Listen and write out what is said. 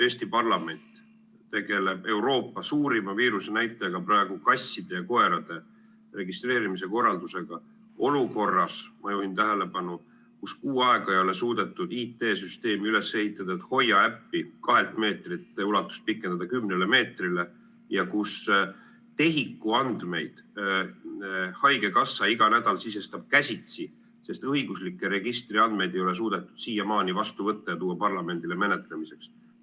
Eesti parlament tegeleb Euroopa suurim viirusenäitaja, kasside ja koerte registreerimise korraldusega, olukorras, ma juhin tähelepanu, kus kuu aega ei ole suudetud üles ehitada IT-süsteemi, et HOIA äpi raadiust kahelt meetrilt pikendada kümnele meetrile, ja kus TEHIK-u andmeid sisestab haigekassa iga nädal käsitsi, sest õiguslikke registriandmeid ei ole suudetud siiamaani vastu võtta ja parlamendile menetlemiseks tuua.